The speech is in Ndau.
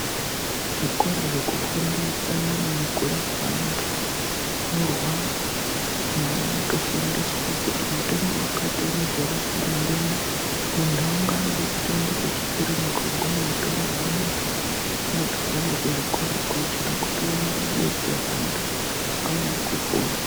Zvikora zveku fundo utsanana ne kurapa antu ano rwara anhu anoto fundiswa kuti mutombo wakati unozo rapa udhenda muntu aungo yambi ekuenda ku kiriniki woguma woto rapa muntu unotobva ngeku zvikora kwachona kuti uone kudetsera antu aone kupona.